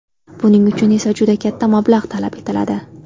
Buning uchun esa juda katta mablag‘ talab etiladi.